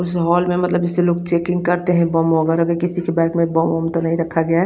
उस हॉल में मतलब जेसे लोग चेकिंग करते है बोम वगेरा किसी के बेग में बोम वोम तो नही रखा गया है।